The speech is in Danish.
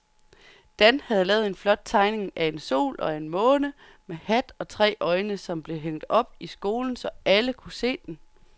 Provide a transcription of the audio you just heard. Dan havde lavet en flot tegning af en sol og en måne med hat og tre øjne, som blev hængt op i skolen, så alle kunne se den.